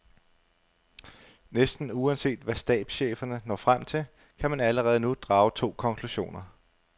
Næsten uanset hvad stabscheferne når frem til, kan man allerede nu drage to konklusioner.